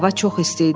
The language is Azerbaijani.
Hava çox isti idi.